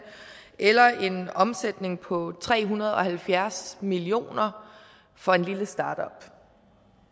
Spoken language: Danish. eller en omsætning på tre hundrede og halvfjerds million kroner for en lille startup